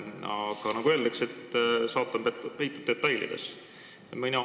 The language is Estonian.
Aga nagu öeldakse, saatan peitub detailides.